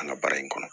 An ka baara in kɔnɔ